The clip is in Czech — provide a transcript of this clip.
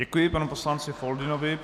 Děkuji panu poslanci Foldynovi.